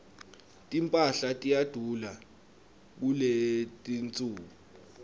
timphahla tiyadula kuletinsuku